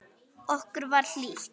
Okkur var hlýtt.